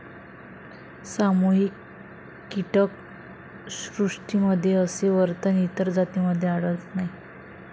सामूहिक कीटक श्रुष्टीमध्ये असे वर्तन इतर जातींमधे आढळत नाही.